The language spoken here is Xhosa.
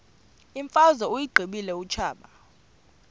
imfazwe uyiqibile utshaba